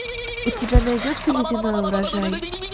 у тебя найдется ледяной урожай